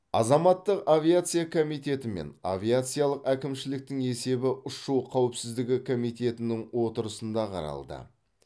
азаматтық авиация комитеті мен авиациялық әкімшіліктің есебі ұшу қауіпсіздігі комитетінің отырысында қаралды